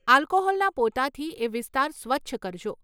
આલ્કોહોલના પોતાથી એ વિસ્તાર સ્વચ્છ કરજો.